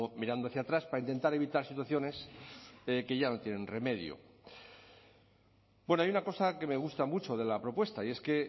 mirando hacia atrás para intentar evitar situaciones que ya no tienen remedio bueno hay una cosa que me gusta mucho de la propuesta y es que